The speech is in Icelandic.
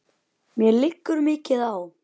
Yppti öxlum.